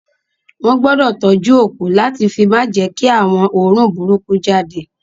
Wọn gbọdọ tọjú òkú lati fi ma jẹ kí àwọn oorun burúkú jáde.